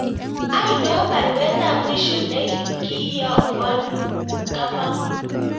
Ainon baruet ab mwisho negi iyakwon Kamau